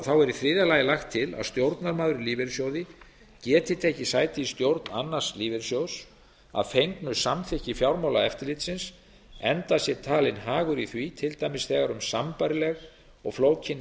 þá er í þriðja lagt til að stjórnarmaður í lífeyrissjóði geti tekið sæti í stjórn annars lífeyrissjóðs að fengnu samþykki fjármálaeftirlitsins enda sé talinn hagur í því til dæmis þegar um sambærileg og flókin